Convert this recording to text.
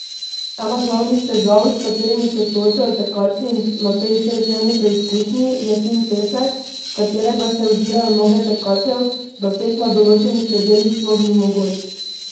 Ena glavnih težav, s katerimi se soočajo tekači na tej šestdnevni preizkušnji, je fin pesek, v katerega se udirajo noge tekačev, da tek na določenih predelih sploh ni mogoč.